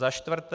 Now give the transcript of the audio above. Za čtvrté.